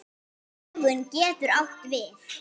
Dögun getur átt við